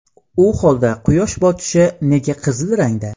U holda quyosh botishi nega qizil rangda?